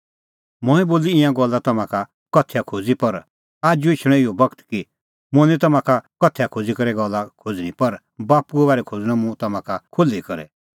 मंऐं बोली ईंयां गल्ला तम्हां का उदाहरणा करै पर आजू एछणअ इहअ बगत कि मुंह निं तम्हां का उदाहरण बोली करै गल्ला खोज़णीं पर बाप्पूए बारै खोज़णअ मुंह तम्हां का खुल्ही करै